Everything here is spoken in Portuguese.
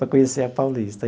Para conhecer a Paulista.